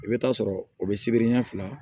I bɛ taa sɔrɔ o bɛ sibiri ɲɛ fila